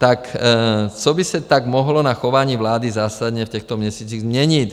Tak co by se tak mohlo na chování vlády zásadně v těchto měsících změnit?